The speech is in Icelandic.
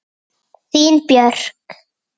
Þín Björk.